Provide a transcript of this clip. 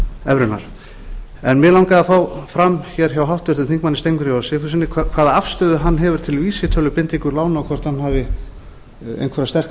evrunnar mig langaði að fá fram hér hjá háttvirtum þingmönnum steingrími j sigfússyni hvaða afstöðu hann hefur til vísitölubindingu lána og hvort hann hafi einhverjar sterkar